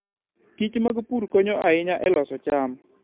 kich mag pur konyo ahinya e loso cham.